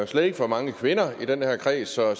slet ikke for mange kvinder i den her kreds så